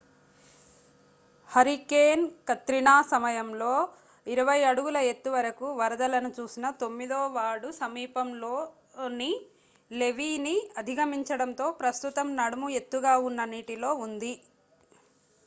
hurricane Katrina సమయంలో 20 అడుగుల ఎత్తువరకు వరదలను చూసిన తొమ్మిదో వార్డు సమీపంలోని లెవీ ని అధిగమించడంతో ప్రస్తుతం నడుము ఎత్తుగా ఉన్న నీటిలో ఉంది